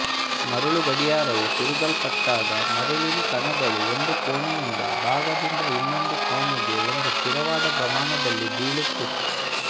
ಮರಳು ಗಡಿಯಾರವು ತಿರುಗಲ್ಪಟ್ಟಾಗ ಮರಳಿನ ಕಣಗಳು ಒಂದು ಕೋಣೆಯಿಂದ ಭಾಗದಿಂದ ಇನ್ನೊಂದು ಕೋಣೆಗೆ ಒಂದು ಸ್ಥಿರವಾದ ಪ್ರಮಾಣದಲ್ಲಿ ಬೀಳುತ್ತಿತ್ತು